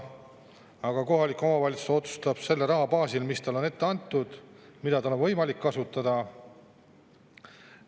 Aga kohalik omavalitsus otsustab selle raha baasil, mis talle on ette antud, mida tal on võimalik kasutada.